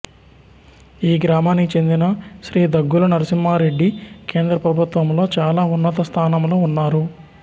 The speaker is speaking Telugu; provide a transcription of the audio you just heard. ఈ గ్రామానికి చెందిన శ్రీ దగ్గుల నరసింహారెడ్డి కేంద్ర ప్రభుత్వంలో చాలా ఉన్నత స్థానంలో ఉన్నారు